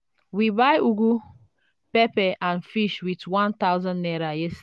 we buy ugu pepper and fish with one thousand naira yesterday.